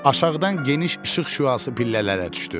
Aşağıdan geniş işıq şüası pillələrə düşdü.